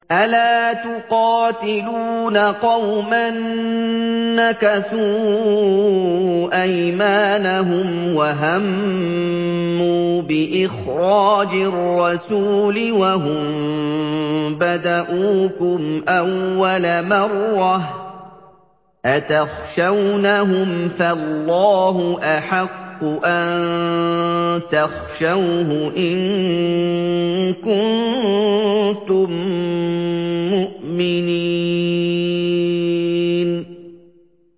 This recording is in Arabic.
أَلَا تُقَاتِلُونَ قَوْمًا نَّكَثُوا أَيْمَانَهُمْ وَهَمُّوا بِإِخْرَاجِ الرَّسُولِ وَهُم بَدَءُوكُمْ أَوَّلَ مَرَّةٍ ۚ أَتَخْشَوْنَهُمْ ۚ فَاللَّهُ أَحَقُّ أَن تَخْشَوْهُ إِن كُنتُم مُّؤْمِنِينَ